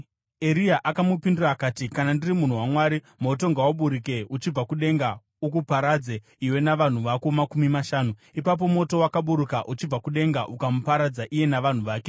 Eria akamupindura akati, “Kana ndiri munhu waMwari, moto ngauburuke uchibva kudenga ukuparadze iwe navanhu vako makumi mashanu!” Ipapo moto wakaburuka uchibva kudenga ukamuparadza iye navanhu vake.